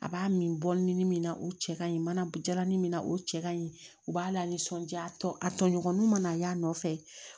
A b'a min bɔmin min na o cɛ ka ɲi mana jalan min na o cɛ ka ɲi u b'a lanisɔndiya tɔ a tɔɲɔgɔninw mana y'a nɔfɛ